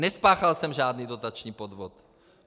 Nespáchal jsem žádný dotační podvod.